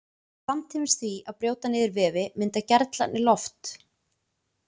Samtímis því að brjóta niður vefi mynda gerlarnir loft.